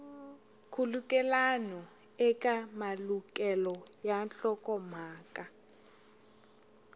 nkhulukelano eka malukelo ya nhlokomhaka